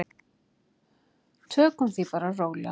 Tökum því bara rólega.